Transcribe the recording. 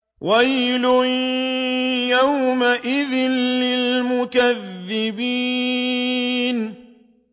وَيْلٌ يَوْمَئِذٍ لِّلْمُكَذِّبِينَ